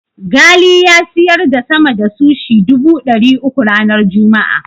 Ghali ya siyar da sama da sushi dubu ɗari uku ranar Juma'a.